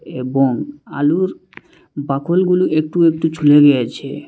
এবং আলুর বাকুল গুলি একটু একটু ছুলে গিয়েছে।